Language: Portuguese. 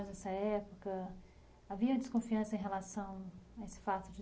Nessa havia desconfiança em relação a esse fato de